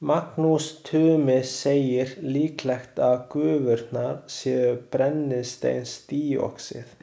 Magnús Tumi segir líklegt að gufurnar séu brennisteinsdíoxíð.